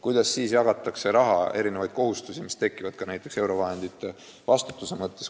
Kuidas siis jagatakse raha ja erinevaid kohustusi, mis tekivad ka näiteks eurovahendite eest vastutamisega?